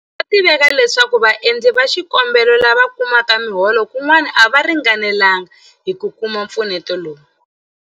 Swa tiveka leswaku vaendli va xikombelo lava kumaka miholo kun'wana a va ringanelanga hi ku kuma mpfuneto lowu.